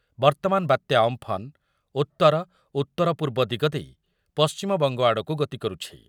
ବର୍ତ୍ତମାନ ବାତ୍ୟା ଅମ୍ପନ୍ ଉତ୍ତର ଓ ଉତ୍ତର ପୂର୍ବ ଦିଗ ଦେଇ ପଶ୍ଚିମବଙ୍ଗ ଆଡ଼କୁ ଗତି କରୁଛି